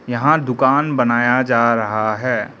यहां दुकान बनाया जा रहा है।